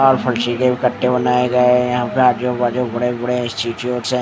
अह फरशी के भी कट्टे बनाए गए है यहाँ पे आजू बाजू बड़े बड़े है ।